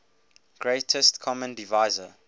greatest common divisor